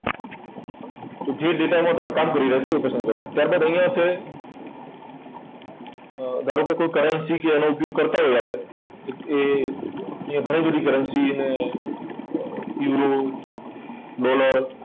તો જે data માં તમે કામ કરી રહ્યા છો, એ પસંદ કરવાનું. ત્યાર બાદ અહીંયા છે અર ધારો કે કોઈ currency કે એનો ઉપયોગ કરતા હોય આપણે તો એ અહીં ઘણી બધી currency ને અર યુરો, ડોલર,